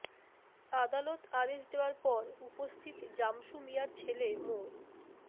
আদালত আদেশ দেওয়ার পর উপস্থিত জামসু মিয়ার ছেলে মো